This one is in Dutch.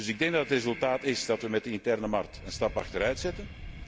Ik denk dat het resultaat is dat wij met de interne markt een stap achteruit zetten.